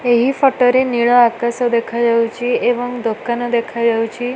ଏହି ଫୋଟୋ ରେ ନୀଳ ଆକାଶ ଦେଖା ଯାଉଚି ଏବଂ ଦୋକାନ ଦେଖା ଯାଉଚି ।